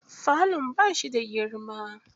Falon bashi da girma.